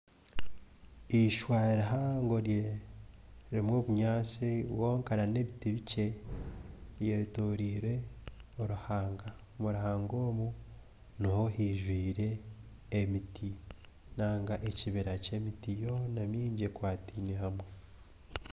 Eishwa rihango ririmu obunyaatsi bwonka n'ebiti bikye byetoroire oruhanga. Omu ruhanga omwo niho haijwire emiti nainga ekibira ky'emiti yoona mingi ekwataine hamwe.